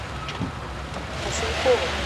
василькова